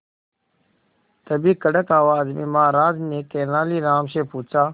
तभी कड़क आवाज में महाराज ने तेनालीराम से पूछा